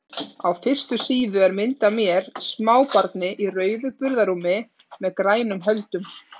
Á fyrstu síðu er mynd af mér, smábarni í rauðu burðarrúmi með grænum höldum.